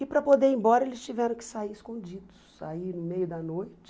E para poder ir embora, eles tiveram que sair escondidos, sair no meio da noite.